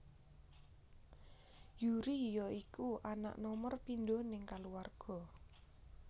Yuri ya iku anak nomor pindho ning kaluwarga